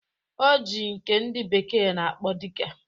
O ji nke ndị bekee na-akpọ Diga